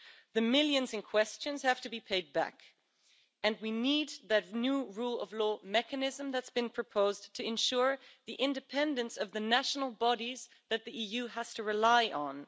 The millions in question have to be paid back, and we need that new rule of law mechanism that's been proposed to ensure the independence of the national bodies that the EU has to rely on.